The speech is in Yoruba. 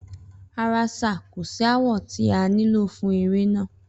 Rara sir, ko si awọ ti a nilo fun ere naa